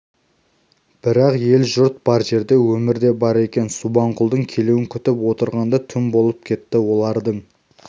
бірақ ел-жұрт бар жерде өмір де бар екен субанқұлдың келуін күтіп отырғанда түн болып кетті олардың